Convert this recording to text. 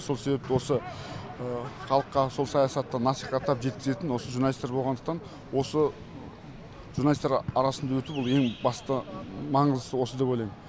сол себепті осы халыққа сол саясатты насихаттап жеткізетін осы журналисттер болғандықтан осы журналисттер арасында өту ол ең басты маңыз осы деп ойлаймын